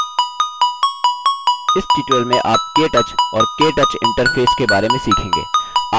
इस tutorial में आप केटच और केटच interface के बारे में सीखेंगे